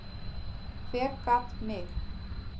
Hver gat mig?